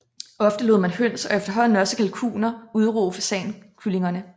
Ofte lod man høns og efterhånden også kalkuner udruge fasankyllingerne